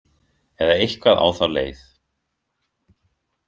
Eða eitthvað á þá leið.